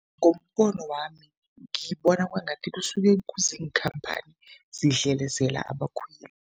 Ngombono wami, ngibona kwangathi kusuke kuziinkhamphani zidlelezela abakhweli.